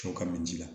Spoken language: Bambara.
To ka min ji la